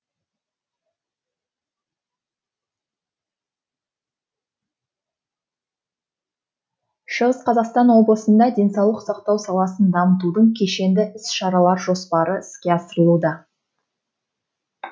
шығыс қазақстан облысында денсаулық сақтау саласын дамытудың кешенді іс шаралар жоспары іске асырылуда